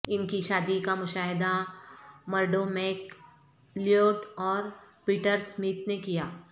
ان کی شادی کا مشاہدہ مرڈو میک لیوڈ اور پیٹر سمتھ نے کیا